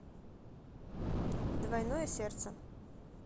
двойное сердце